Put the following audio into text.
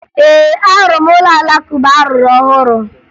Ee, ahụrụ m ụlọ Alakụba a rụrụ ọhụrụ